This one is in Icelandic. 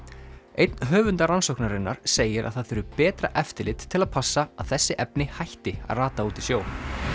einn höfunda rannsóknarinnar segir að það þurfi betra eftirlit til að passa að þessi efni hætti að rata út í sjó